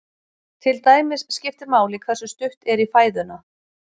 Til dæmis skiptir máli hversu stutt er í fæðuna.